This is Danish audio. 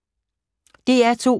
DR2